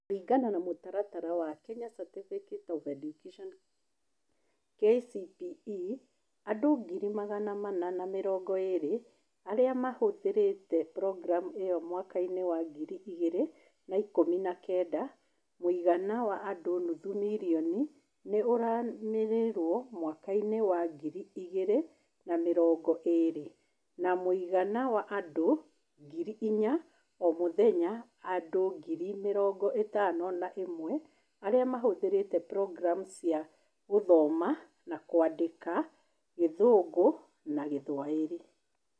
Kũringana na mũtaratara wa Kenya Certificate of Primary Education (KCPE), andũ ngiri magana mana na mĩrongo ĩĩrĩ, arĩa mahũthĩrĩte programu ĩyo mwaka-inĩ wa ngiri igĩrĩ na ikũmi na kenda (mũigana wa andũ nuthu milioni nĩ ũranĩrĩrio mwaka-inĩ wa ngiri igĩrĩ na mĩrongo ĩĩrĩ) na mũigana wa andũ ngiri inya o mũthenya; andũ ngiri mĩrongo ĩtano na ĩmwe arĩa mahũthĩrĩte programu cia gũthoma na kwandĩka Gĩthũngũ na Gĩthwaĩri.